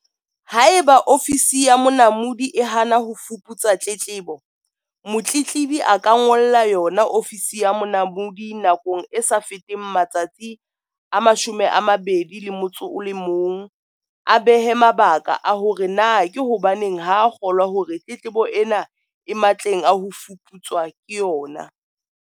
Haeba Ofisi ya Monamodi e hana ho fuputsa tletlebo, motletlebi a ka ngolla yona Ofisi ya Monamodi nakong e sa feteng matsatsi a 21, a behe mabaka a hore na ke hobaneng ha a kgolwa hore tletlebo ena e matleng a ho fuputswa ke yona.